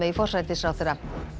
forsætisráðherra